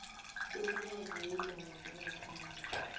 umnyango weendaba zangaphandle